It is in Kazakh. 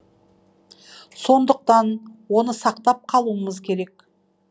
сондықтан оны сақтап қалуымыз керек